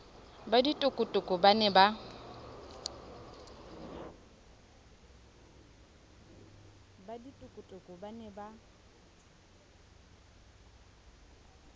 ba ditokotoko ba ne ba